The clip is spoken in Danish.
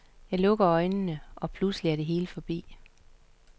Jeg lukker øjnene, og pludselig er det hele forbi.